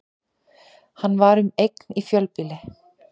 Hann var um eign í fjölbýli